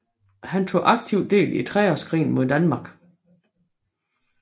Han tog aktivt del i treårskrigen mod Danmark